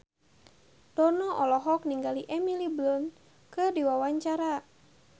Dono olohok ningali Emily Blunt keur diwawancara